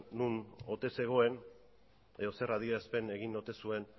non ote zegoen edo zer adierazpen egin ote zuen